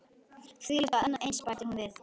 Þvílíkt og annað eins- bætti hún við.